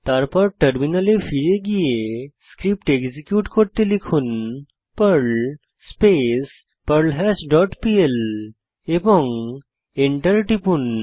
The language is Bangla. তারপর টার্মিনালে ফিরে পর্ল স্ক্রিপ্ট এক্সিকিউট করুন Perl space perl hash dot PL এবং এন্টার টিপুন